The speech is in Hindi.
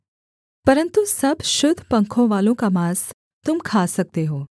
परन्तु सब शुद्ध पंखवालों का माँस तुम खा सकते हो